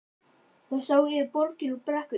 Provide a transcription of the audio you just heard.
Þau sáu yfir borgina úr brekkunni.